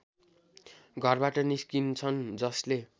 घरबाट निस्किन्छन् जसले